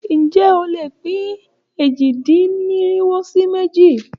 Ǹjé o lè pín èje-dín-irinwo sí méjì?